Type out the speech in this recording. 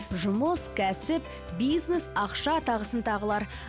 жұмыс кәсіп бизнес ақша тағысын тағылар